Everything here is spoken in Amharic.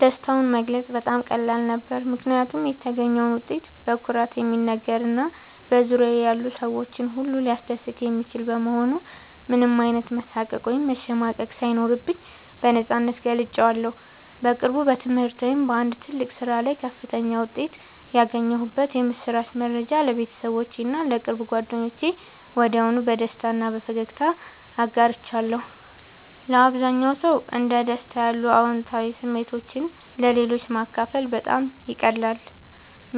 ደስታውን መግለጽ በጣም ቀላል ነበር፦ ምክንያቱም የተገኘው ውጤት በኩራት የሚነገር እና በዙሪያዬ ያሉ ሰዎችን ሁሉ ሊያስደስት የሚችል በመሆኑ ምንም አይነት መሳቀቅ ወይም መሸማቀቅ ሳይኖርብኝ በነፃነት ገልጬዋለሁ። በቅርቡ በትምህርት ወይም በአንድ ትልቅ ስራ ላይ ከፍተኛ ውጤት ያገኘሁበትን የምስራች መረጃ ለቤተሰቦቼ እና ለቅርብ ጓደኞቼ ወዲያውኑ በደስታ እና በፈገግታ አጋርቻለሁ። ለአብዛኛው ሰው እንደ ደስታ ያሉ አዎንታዊ ስሜቶችን ለሌሎች ማካፈል በጣም ይቀላል።